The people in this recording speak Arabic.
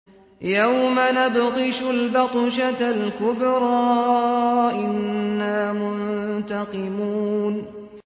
يَوْمَ نَبْطِشُ الْبَطْشَةَ الْكُبْرَىٰ إِنَّا مُنتَقِمُونَ